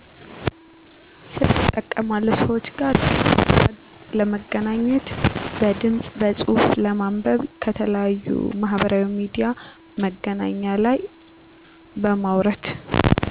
ስልክ እጠቀማለሁ ሰዎች ጋር ለመገናኘት በድምፅ በፁሁፍ፣ ለማንበብ ከተለያዩ ማህበራዊ ሚድያ መገናኛ ላይ በማውረድ